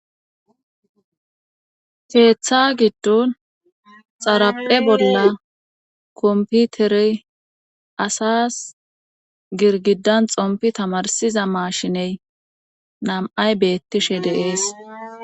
keeththa giddon xaraphe bolla komputerey asas girgidan xompi tamarsiza maashiney nam7ay beettishe de'ees